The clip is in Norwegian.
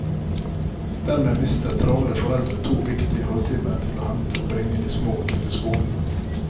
Dermed mister travle foreldre to viktige halvtimer til å hente og bringe de små til skolen.